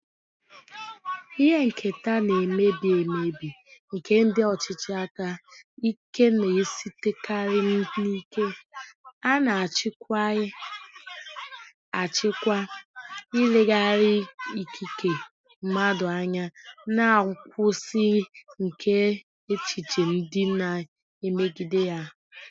Ihe nketa na-emebi emebi nke ndị ọchịchị aka ike na-esitekarị n'ike a na-achịkwaghị achịkwa, ileghara ikike mmadụ anya, na nkwụsị nke echiche ndị na-emegide ya.